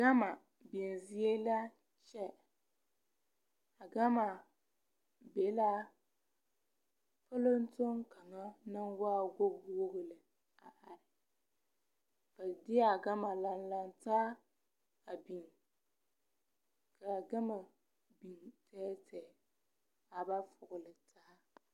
Gama biŋ zie la kyɛ a gama be la polotoŋ kaŋa naŋ waa wogi wogi lɛ a are ba deɛ a gama lanlaŋ taa a biŋ ka a gama e tɛɛtɛɛ a ba politaa.